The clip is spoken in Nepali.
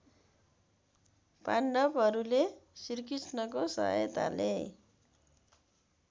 पाण्डवहरूले श्रीकृष्णको सहायताले